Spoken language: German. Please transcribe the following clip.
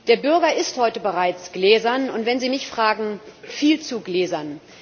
Der Bürger ist heute bereits gläsern, und wenn Sie mich fragen, viel zu gläsern.